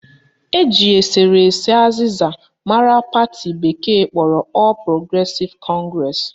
Eji eserese azịza mara pati bekee kpọrọ All Progressive Congress